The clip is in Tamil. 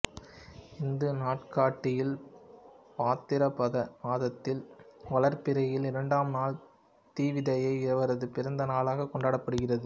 இந்து நாட்காட்டியில் பாத்திரபத மாதத்தில் வளர்பிறையில் இரண்டாம் நாள் திவிதியை இவரது பிறந்த நாள் கொண்டாடப்படுகின்றது